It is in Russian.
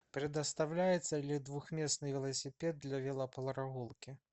предоставляется ли двухместный велосипед для велопрогулки